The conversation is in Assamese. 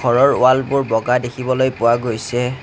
ঘৰৰ ৱালবোৰ বগা দেখিবলৈ পোৱা গৈছে।